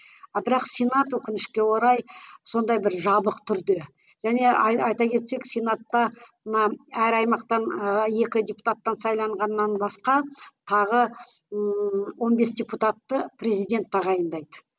а бірақ сенат өкінішке орай сондай бір жабық түрде және айта кетсек сенатта мына әр аймақтан екі депутаттан сайлағаннан басқа тағы ыыы он бес депутатты президент тағайындайды